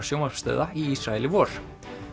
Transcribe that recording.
sjónvarpsstöðva í Ísrael í vor